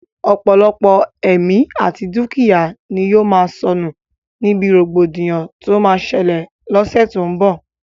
Ọ̀pọ̀lọpọ̀ ẹ̀mí àti dúkìyá ni yóò sọnù níbi rògbòdìyàn tó máa ṣẹlẹ̀ l'ọ́ṣẹ́ tó n bọ̀